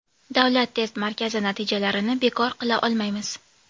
Davlat test markazi natijalarini bekor qila olmaymiz.